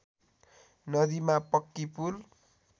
नदीमा पक्की पुल